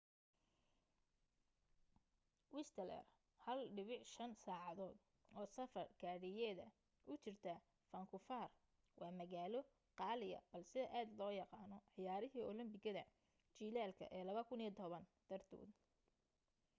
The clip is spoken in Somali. whistler 1.5 saacadood oo safar gaadhiyeeda u jirta faankuufar waa magaalo qaaliya balse aad loo yaqaano ciyaarihii olambikada jilaalka ee 2010 dartood